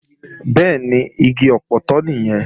Bẹ́ẹ̀ni, igi ọpọtọ nìyẹn